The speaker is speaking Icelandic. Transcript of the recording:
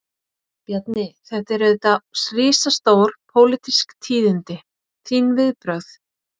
Bjarni, þetta eru auðvitað risastór, pólitísk tíðindi, þín viðbrögð?